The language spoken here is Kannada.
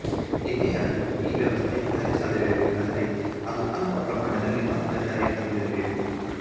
ಏನೇ ಆದರೂ ಈ ವ್ಯವಸ್ಥೆ ಕಾರ್ಯ ಸಾಧ್ಯವಾಗಬೇಕಾದರೆ ಅದು ಅಲ್ಪ ಪ್ರಮಾಣದಲ್ಲಿ ಮಾತ್ರ ಜಾರಿಗೆ ತಂದಿರಬೇಕು